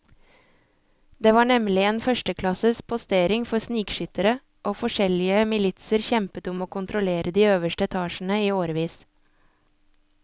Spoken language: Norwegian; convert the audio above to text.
Det var nemlig en førsteklasses postering for snikskyttere, og forskjellige militser kjempet om å kontrollere de øverste etasjene i årevis.